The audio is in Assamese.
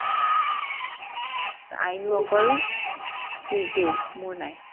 আইনোৰ অকল tuesday মোৰ নাই